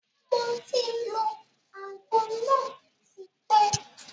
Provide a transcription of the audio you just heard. Moti lo àgbo náà tí pẹ́.